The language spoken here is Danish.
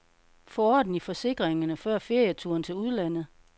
Få orden i forsikringerne før ferieturen til udlandet, .